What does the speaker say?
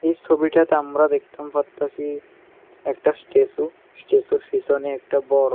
এই ছবিটাতে আমরা দেখতাম পারতাছি একটা স্ট্যাছু স্ট্যাছুর পিছনে বড়ো --